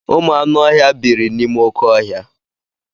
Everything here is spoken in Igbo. Ụmụ anụ ọhịa biiri n'ime oké ọhịa.